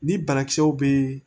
Ni banakisɛw bɛ yen